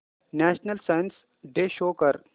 national science day show कर